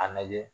A lajɛ